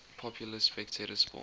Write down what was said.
popular spectator sport